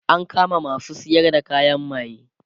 an kama masu sayar da kayan maye